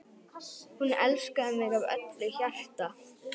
Hún elskaði mig af öllu hjarta.